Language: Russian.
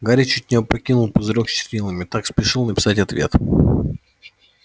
гарри чуть не опрокинул пузырёк с чернилами так спешил написать ответ